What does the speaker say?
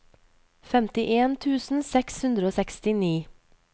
femtien tusen seks hundre og sekstini